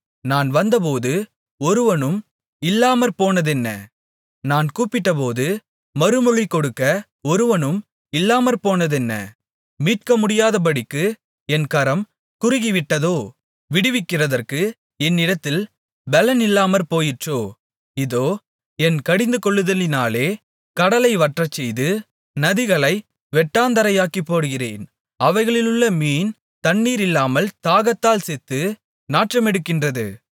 நான் வந்தபோது ஒருவனும் இல்லாமற்போனதென்ன நான் கூப்பிட்டபோது மறுமொழி கொடுக்க ஒருவனும் இல்லாமற்போனதென்ன மீட்கமுடியாதபடிக்கு என் கரம் குறுகிவிட்டதோ விடுவிக்கிறதற்கு என்னிடத்தில் பெலனில்லாமற்போயிற்றோ இதோ என் கடிந்துகொள்ளுதலினாலே கடலை வற்றச்செய்து நதிகளை வெட்டாந்தரையாக்கிப்போடுகிறேன் அவைகளிலுள்ள மீன் தண்ணீரில்லாமல் தாகத்தால் செத்து நாற்றமெடுக்கின்றது